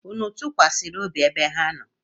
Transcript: Unu tụkwasịrị obi ebe ha nọ?